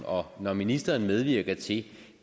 og når ministeren medvirker til